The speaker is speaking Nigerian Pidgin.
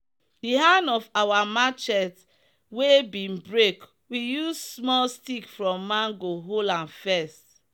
the hand of our marchet wey bin break we use small stick from mango hold am first.